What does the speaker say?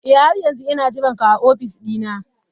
Eh har yanzu ina jiranka a ofis dina.